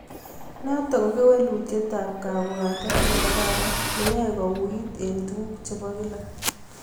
Notok koo kewelutiet ab kabwatet nee kararan neyae kouuwit eng tuguk chebaa kila